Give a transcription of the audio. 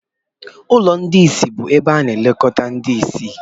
ụlọ ndị ìsì bụ ebe a na-elekọta ndị ìsì